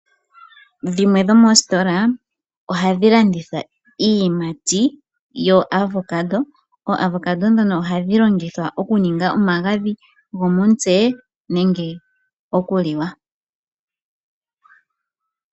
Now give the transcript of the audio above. Dhimwe dho moositola ohadhi landitha iiyimati yo Avocado. OoAvocado ndhono ohadhi longithwa oku ninga omaagadhi go momutse nenge oku liwa.